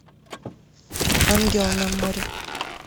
ангел на море